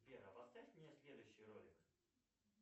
сбер а поставь мне следующий ролик